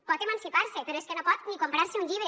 pot emancipar se però és que no pot ni comprar se un llibre